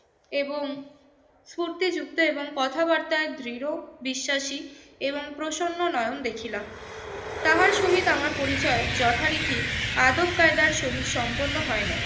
এবং স্ফূর্তিযুক্ত এবং কথাবার্তায় দৃঢ়বিশ্বাসী এবং প্রসন্ন নয়ন দেখিলাম। তাহার সহিত আমার পরিচয় যথারীতি আদব-কায়দার সহিত সম্পন্ন হয় নাই।